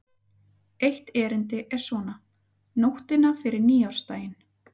Eitt erindið er svona: Nóttina fyrir nýársdaginn